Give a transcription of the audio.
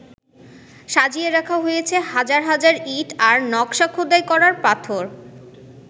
সাজিয়ে রাখা হয়েছে হাজার হাজার ইঁট আর নকশা খোদাই করা পাথর।